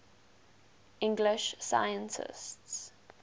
english scientists